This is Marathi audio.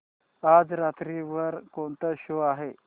आज रात्री वर कोणता शो आहे